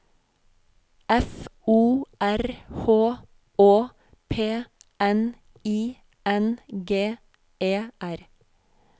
F O R H Å P N I N G E R